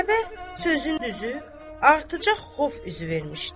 Zeynəbə sözün düzü artacaq xof üzü vermişdi.